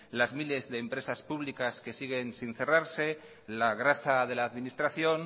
las miles de empresas públicas que siguen sin cerrarse la grasa de la administración